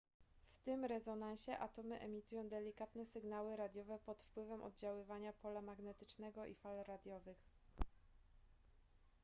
w tym rezonansie atomy emitują delikatne sygnały radiowe pod wpływem oddziaływania pola magnetycznego i fal radiowych